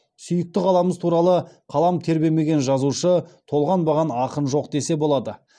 сүйікті қаламыз туралы қалам тербемеген жазушы толғанбаған ақын жоқ десе болады